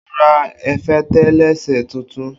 O ra efatelese tuntun